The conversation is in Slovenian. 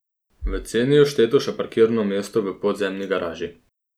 V ceni je všteto še parkirno mesto v podzemni garaži.